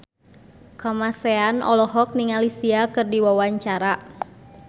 Kamasean olohok ningali Sia keur diwawancara